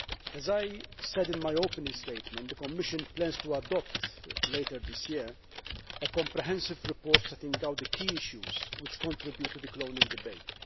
As I said in my opening statement, the Commission plans to adopt later this year a comprehensive report setting out the key issues which contribute to the cloning debate.